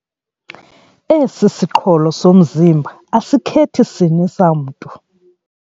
Esi siqholo somzimba asikhethi sini samntu.